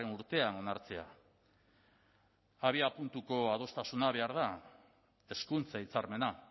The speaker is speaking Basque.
urtean onartzea abiapuntuko adostasuna behar da hezkuntza hitzarmena